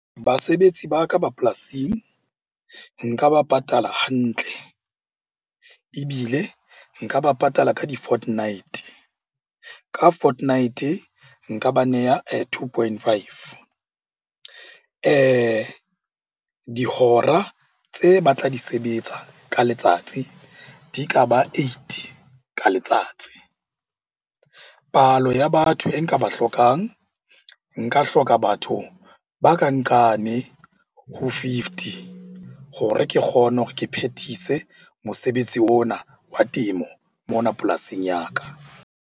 Basebetsi ba ka ba polasing nka ba patala hantle, ebile nka ba patala ka di-fortnight-e. Ka fortnight-e nka ba neya two point five. Dihora tse ba tla di sebetsa ka letsatsi di ka ba eight ka letsatsi. Palo ya batho e nka ba hlokang, nka hloka batho ba ka nqane ho fifty hore ke kgone hore ke phethise mosebetsi ona wa temo mona polasing ya ka.